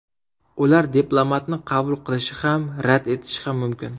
Ular diplomatni qabul qilishi ham, rad etishi ham mumkin.